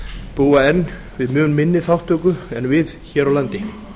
búa enn við mun minni þátttöku en við hér á landi